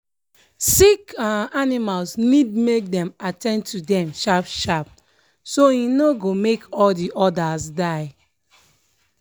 sick um animals need make dem at ten d to them sharp sharp so e no go make all the others die.